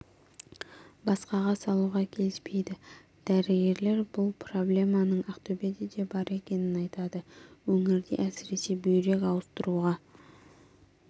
басқаға салуға келіспейды дәрігерлер бұл проблеманың ақтөбеде де бар екенін айтады өңірде әсіресе бүйрек ауыстыруға